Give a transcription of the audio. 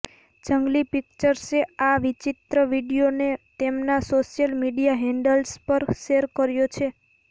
જંગલી પિક્ચર્સે આ વિચિત્ર વીડિયોને તેમના સોશ્યલ મીડિયા હેન્ડલ્સ પર શેર કર્યો છે